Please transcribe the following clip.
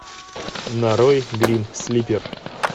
нарой грим слипер